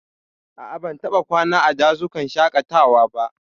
A'a, ban taɓa kwana a dazukan shaƙatawa ba.